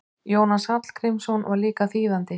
Jónas Hallgrímsson var líka þýðandi.